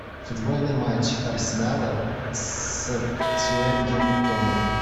футбольный матч арсенала с саутгемптоном